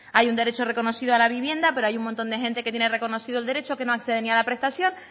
hay un derecho reconocido a la vivienda pero hay un montón de gente que tiene reconocido el derecho que no acceden ni a la prestación